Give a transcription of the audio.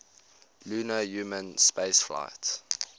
lunar human spaceflights